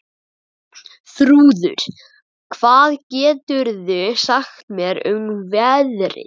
Bjarnþrúður, hvað geturðu sagt mér um veðrið?